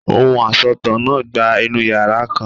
Ohùn asọ̀tàn náà gba inú yàrá kan.